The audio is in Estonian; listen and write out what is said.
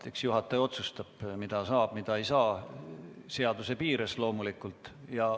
Eks juhataja otsustab, mida saab ja mida ei saa, seaduse piires loomulikult.